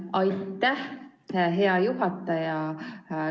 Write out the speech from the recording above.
Aitäh, hea juhataja!